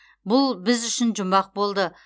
бұл біз үшін жұмбақ болды